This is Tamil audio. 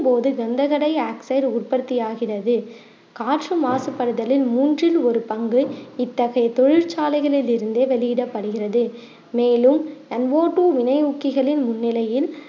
போது கண்டகடையாக்சைடு உற்பத்தி ஆகிறது காற்று மாசுபடுதலின் மூன்றின் ஒரு பங்கு இத்தகைய தொழிற்சாலைகளில் இருந்தே வெளியிடப்படுகிறது மேலும் MO two வினை முக்கிகளின் முன்னிலையின்